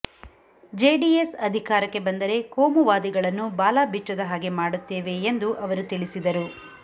JDS ಅಧಿಕಾರಕ್ಕೆ ಬಂದರೆ ಕೋಮುವಾದಿಗಳನ್ನು ಬಾಲ ಬಿಚ್ಚದ ಹಾಗೆ ಮಾಡುತ್ತೇವೆ ಎಂದು ಅವರು ತಿಳಿಸಿದರು